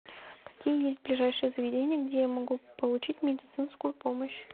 какие есть ближайшие заведения где я могу получить медицинскую помощь